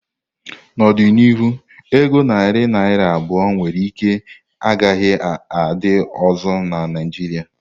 N'ọdịnihu, ego narị naira abụọ nwere ike ọ gaghị adị ọzọ na Naijiria.